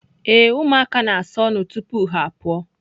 Ee, ụmụaka ga-asa ọnụ tupu ha apụọ.